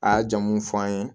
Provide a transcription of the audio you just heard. A ye jamu fɔ an ye